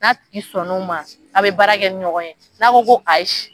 N'a tigi sɔn n'o ma a bɛ baara kɛ ni ɲɔgɔn ye, n'a ko ko ayi.